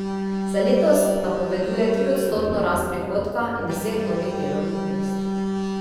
Za letos napoveduje triodstotno rast prihodka in deset novih delovnih mest.